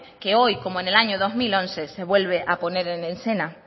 que hoy como en el año dos mil once se vuelve a poner en escena